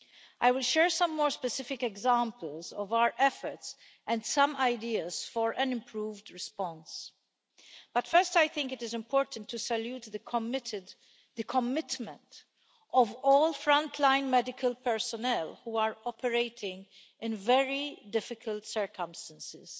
I will share some more specific examples of our efforts and some ideas for an improved response, but first I think it is important to salute the commitment of all frontline medical personnel, who are operating in very difficult circumstances.